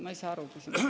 Ma ei saa aru küsimusest.